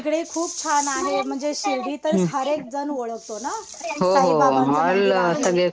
तिकडे खूप छान आहे. म्हणजे शिर्डी तर हर एक जण ओळखतो ना. साईबाबाबांचं मंदिर आहे.